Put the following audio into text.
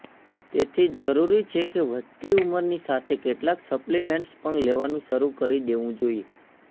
તેથી જરૂરી છેકે વધતી ઉંમરની સાથે કેટલાક સપ્લીમેન્ટ્સ પણ લેવાનું શરૂ કરી દેવુ જોઇએ